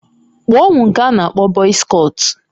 Kpụọ m nke a n'akpọ bọz kọtụ